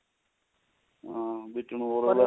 ਹਾਂ ਵਿੱਚ ਨੂੰ ਹੋਰ